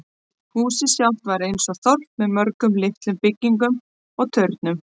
Húsið sjálft var eins og þorp með mörgum litlum byggingum og turnum.